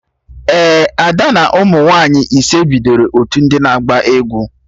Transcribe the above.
Ee, Ada na ụmụ nwaanyị ise bidoro otu ndị na-agba egwu